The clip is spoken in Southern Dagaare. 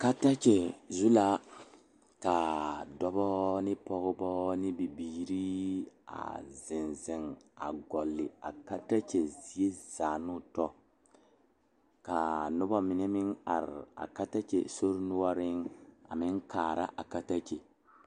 Katakye zu la ka dɔba ne pɔgeba ne bibirii a zeŋ zeŋ a gɔle a katakye zie zaa ne o tɔ ka noba mine meŋ are a katakye sori noɔreŋ a meŋ kaara a katakye.